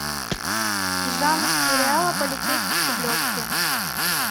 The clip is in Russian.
жанр сериала полицейский с рублевки